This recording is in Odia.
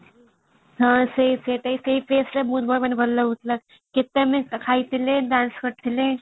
missing text